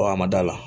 a ma da la